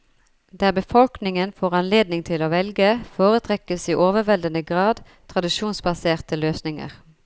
Der befolkningen får anledning til å velge, foretrekkes i overveldende grad tradisjonsbaserte løsninger.